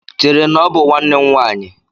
Chere, na ọ bụ nwanne nwaanyị!